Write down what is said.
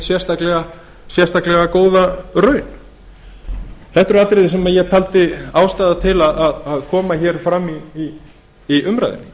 neitt sérstaklega góða raun þetta eru atriði sem ég taldi ástæðu til að kæmu fram í umræðunni